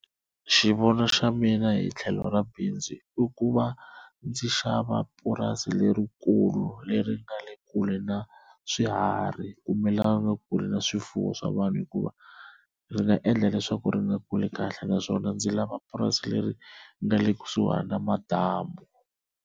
Xivono xa mina hi tlhelo ra bindzu i ku va ndzi xava purasi lerikulu leri nga le kule na swiharhi kumbe leri nga kule na swifuwo swa vanhu, hikuva ri nga endla leswaku ri nga kuli kahle naswona ndzi lava purasi leri nga le kusuhana na madamu.